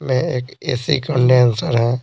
में एक AC condenser है।